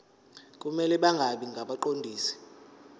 kumele bangabi ngabaqondisi